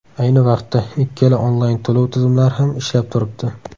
Ayni vaqtda ikkala onlayn to‘lov tizimlari ham ishlab turibdi.